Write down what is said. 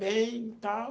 Bem e tal.